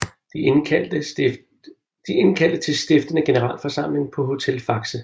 De indkaldte til stiftende generalforsamling på Hotel Faxe